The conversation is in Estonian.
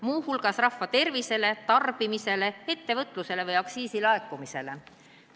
Me peame silmas mõju rahva tervisele, tarbimisele, ettevõtlusele või aktsiisilaekumisele.